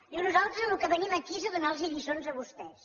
diu nosaltres al que venim aquí és a donar los lliçons a vostès